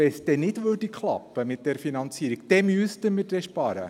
Wenn es mit der Finanzierung nicht klappen würde, müssten wir dann sparen.